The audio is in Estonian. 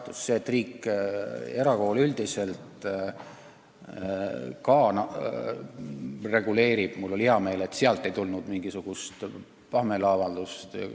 Mul on hea meel, et ollakse nõus, et riik ka erakoole üldiselt reguleerib – sel pinnal ei tulnud mingisugust pahameeleavaldust.